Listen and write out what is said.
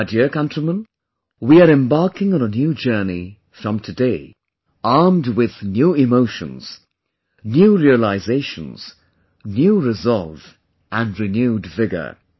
My dear countrymen, we're embarking on a new journey from today armed with new emotions, new realizations, new resolve and renewed vigour